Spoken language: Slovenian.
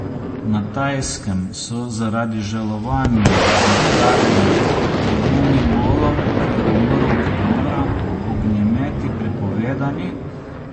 Na Tajskem so zaradi žalovanja za kraljem Bhumibolom, ki je umrl oktobra, ognjemeti prepovedani.